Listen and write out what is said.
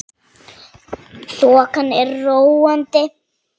Þokan er róandi